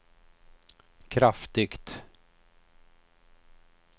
kraftigt